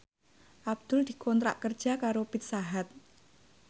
Abdul dikontrak kerja karo Pizza Hut